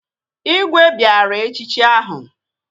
Igwe bịara echichi ahụ